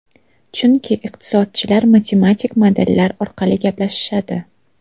Chunki iqtisodchilar matematik modellar orqali gaplashishadi.